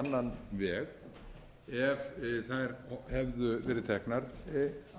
annan veg ef þær hefðu verið teknar